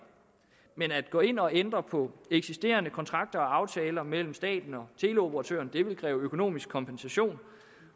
men at gå ind og ændre på eksisterende kontrakter og aftaler mellem staten og teleoperatøren vil kræve økonomisk kompensation